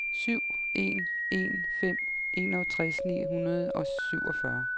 syv en en fem enogtres ni hundrede og syvogfyrre